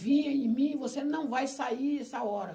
Vinha em mim, você não vai sair nessa hora.